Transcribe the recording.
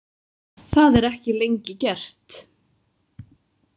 Það er ekki lengi gert.